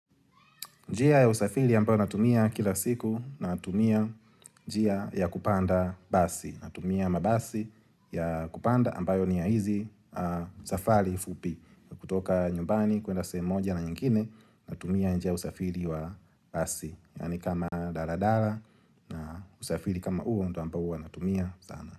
Njia ya usafiri ambayo natumia kila siku natumia njia ya kupanda basi. Natumia mabasi ya kupanda ambayo ni ya hizi safari fupi kutoka nyumbani kuenda sehemu moja na nyingine natumia njia usafiri wa basi. Yaani kama dala dala usafiri kama huo ndo ambayo natumia sana.